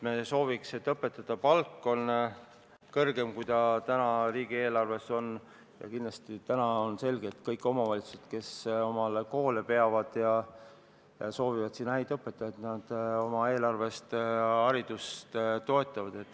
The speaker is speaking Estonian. Me sooviks, et õpetajate palk oleks kõrgem, kui see praegu riigieelarves on ette nähtud, ja kindlasti on selge, et kõik omavalitsused, kes koole peavad ja soovivad sinna häid õpetajaid, oma eelarvest haridust toetavad.